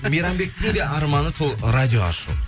мейрамбектің де арманы сол радио ашу